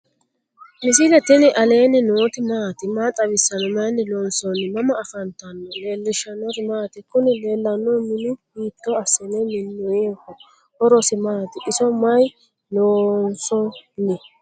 misile tini alenni nooti maati? maa xawissanno? Maayinni loonisoonni? mama affanttanno? leelishanori maati? kuni leelanohu minu hitto asine minoyiho? horosi mati? iso mayi lonsoni?